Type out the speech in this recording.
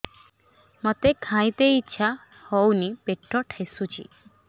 ମୋତେ ଖାଇତେ ଇଚ୍ଛା ହଉନି ପେଟ ଠେସୁଛି